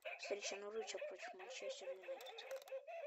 встреча норвича против манчестер юнайтед